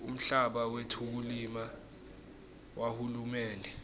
umhlaba wetekulima wahulumende